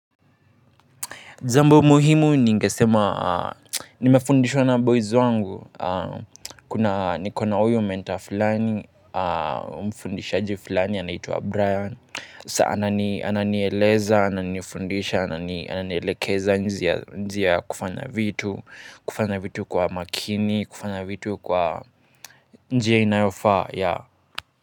Jambo muhimu ningesema nimefundishwa na boys wangu. Kuna niko na uyu menta flani. Mfundishaji flani anaitwa Brian. Saa anani ananieleza, ananifundisha ananielekeza njia ya kufanya vitu. Kufanya vitu kwa makini, kufanya vitu kwa njia inayofa.